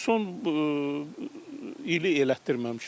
Son ili elətdirməmişəm.